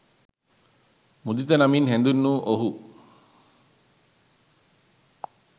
මුදිත නමින් හැඳින් වූ ඔහු